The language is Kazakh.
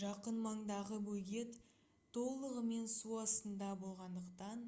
жақын маңдағы бөгет толығымен су астында болғандықтан